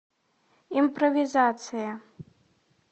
импровизация